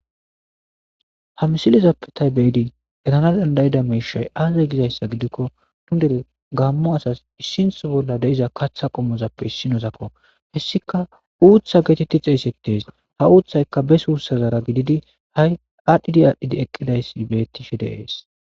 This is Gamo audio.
Ha misilizappe taybeedi etana dandayida meishay aazay gizayssa gidikko tundere gaammo asas issintho bolla deiza katha qommozappe issinosakko hessika uutha geetetti xeeysettees ha uuththayka besuussazara gididi ha'i aadhdhidi aadhdhidi eqqidayssi bettishe deees